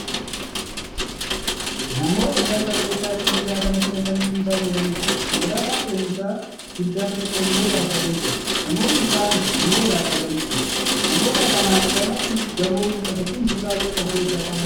Namoota balfa meeshaa sibiilaa kanatti naqanii dhiibaa jiranidha. Konkolaataan fe'isaa guddaan tokko immoo dhaabbatee jira. Namoonni kaan immoo dhaabbatanii jiru. Namoota kanaan gamatti gamoon mul'atu Kun kutaa meeqa of keessaa qaba?